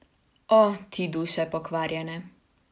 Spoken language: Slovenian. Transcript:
O, ti duše pokvarjene.